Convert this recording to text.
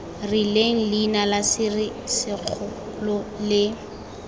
rileng leina la serisikgolo le